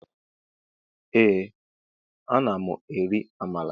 Ee ana mụ eri Amala.